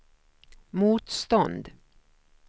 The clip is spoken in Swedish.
motstånd